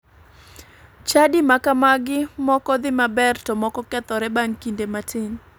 Chadi makamagi moko dhi maber to moko kethore bang' kinde matin.